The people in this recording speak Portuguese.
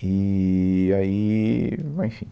eee aí, ah enfim